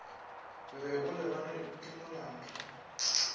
be o lebanwe ke molato